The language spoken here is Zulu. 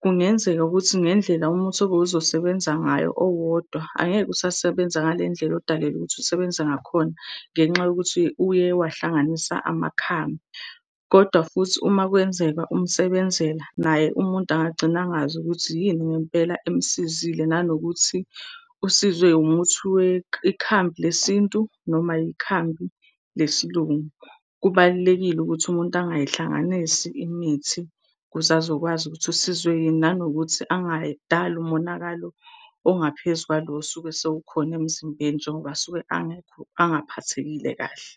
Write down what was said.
kungenzeka ukuthi ngendlela umuthi obowuzosebenza ngayo owodwa, angeke usasebenza ngalendlela odalelwe ukuthi usebenza ngakhona ngenxa yokuthi uye wahlanganisa amakhambi. Koda futhi uma kwenzeka umsebenzela naye umuntu angagcina angazi ukuthi yini ngempela emsizile. Nanokuthi usizwe umuthi ikhambi lesintu noma yikhambi lesiLungu. Kubalulekile ukuthi umuntu angayihlanganisi imithi ukuze azokwazi ukuthi usizwe yini. Nanokuthi angayidali umonakalo ongaphezu kwalo osuke sewukhona emzimbeni njengoba suke angekho, angaphathekile kahle.